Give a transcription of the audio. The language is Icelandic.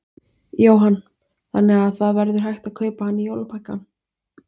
Jóhann: Þannig að það verður hægt að kaupa hann í jólapakkann?